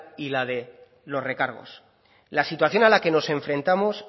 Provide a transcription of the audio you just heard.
y la de los recargos la situación a la que nos enfrentamos